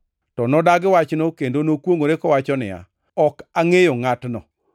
To nodagi wachno kendo nokwongʼore kowacho niya, “Ok angʼeyo ngʼatno!”